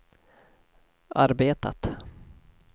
arbetat